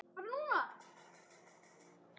Ferill hennar ber þess merki.